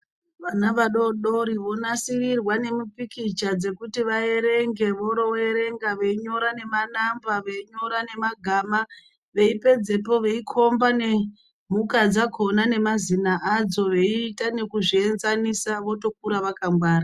Vana vadodori vonasirwa nemipikicha dzekuti vaerenge voroo erenga veinyora nema namba veinyora nema gama veipedzepo veikomba nemhuka dzakona nema zina akon veiita nekuzvienzanisa votokura vaka ngwara.